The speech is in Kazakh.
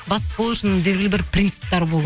бастық болу үшін белгілі бір принциптер болу